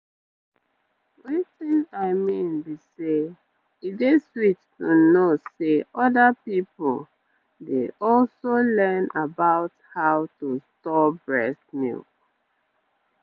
wetin i mean be say e dey sweet to know say other peopledey also learn about how to store breast milk.